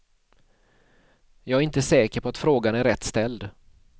Jag är inte säker på att frågan är rätt ställd.